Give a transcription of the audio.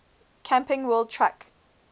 camping world truck